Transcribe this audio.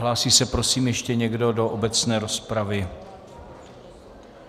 Hlásí se prosím ještě někdo do obecné rozpravy?